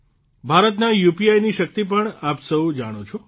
ભારતનાં યુપીઆઇ ની શક્તિ પણ આપ સૌ જાણો છો